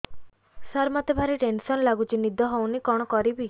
ସାର ମତେ ଭାରି ଟେନ୍ସନ୍ ଲାଗୁଚି ନିଦ ହଉନି କଣ କରିବି